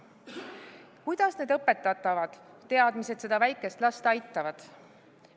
Kuidas need õpetatavad teadmised seda väikest last aitavad?